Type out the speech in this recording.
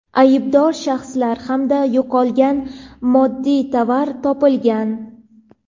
aybdor shaxslar hamda yo‘qolgan moddiy tovar topilgan.